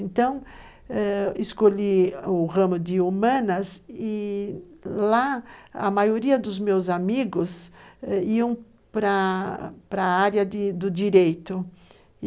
Então, escolhi o ramo de humanas e, lá, a maioria dos meus amigos iam para para a área do direito.